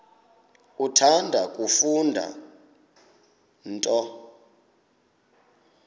uthanda kufunda nto